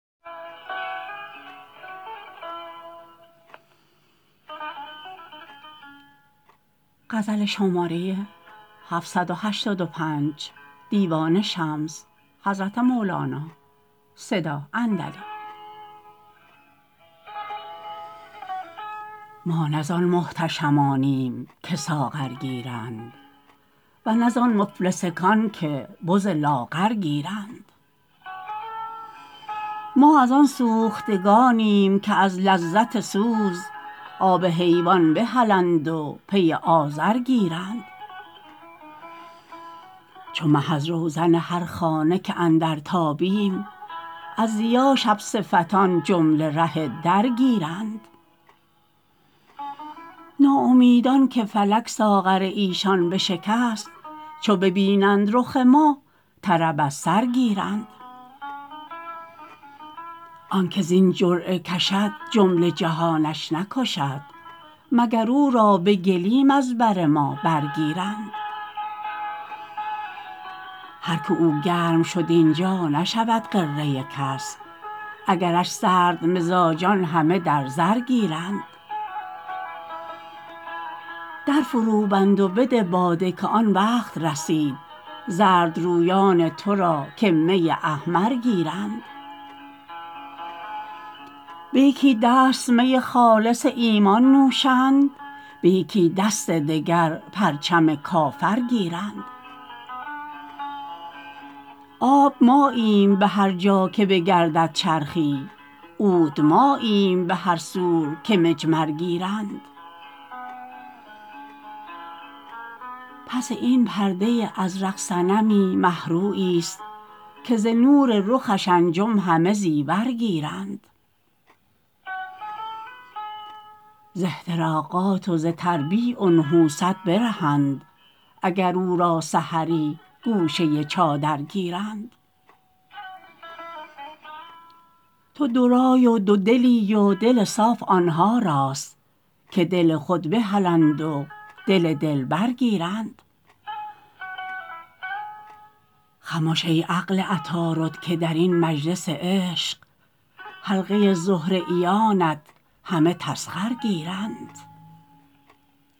ما نه زان محتشمانیم که ساغر گیرند و نه زان مفلسکان که بز لاغر گیرند ما از آن سوختگانیم که از لذت سوز آب حیوان بهلند و پی آذر گیرند چو مه از روزن هر خانه که اندر تابیم از ضیا شب صفتان جمله ره در گیرند ناامیدان که فلک ساغر ایشان بشکست چو ببینند رخ ما طرب از سر گیرند آن که زین جرعه کشد جمله جهانش نکشد مگر او را به گلیم از بر ما برگیرند هر کی او گرم شد این جا نشود غره کس اگرش سردمزاجان همه در زر گیرند در فروبند و بده باده که آن وقت رسید زردرویان تو را که می احمر گیرند به یکی دست می خالص ایمان نوشند به یکی دست دگر پرچم کافر گیرند آب ماییم به هر جا که بگردد چرخی عود ماییم به هر سور که مجمر گیرند پس این پرده ازرق صنمی مه روییست که ز نور رخش انجم همه زیور گیرند ز احتراقات و ز تربیع و نحوست برهند اگر او را سحری گوشه چادر گیرند تو دورای و دودلی و دل صاف آن ها راست که دل خود بهلند و دل دلبر گیرند خمش ای عقل عطارد که در این مجلس عشق حلقه زهره بیانت همه تسخر گیرند